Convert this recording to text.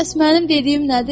Bəs mənim dediyim nədir?